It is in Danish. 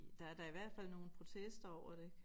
Der er da i hvert fald nogle protester over det ik